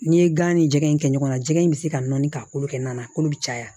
N'i ye gan ni jɛgɛ in kɛ ɲɔgɔnna jɛgɛ in bɛ se ka nɔɔni ka kolo kɛ na kolo bɛ caya